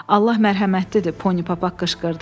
Allah mərhəmətlidir, Pony Papaq qışqırdı.